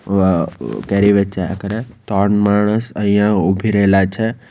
કેરી વેચાયા કરે તોન માણસ અહિયા ઊભી રહેલા છે.